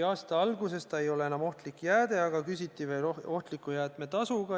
Aasta algusest see tuhk ei ole enam ohtlik jääde, aga küsitud on ikka ohtliku jäätme tasu.